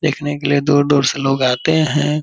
देखने के लिए दूर-दूर से लोग आते हैं।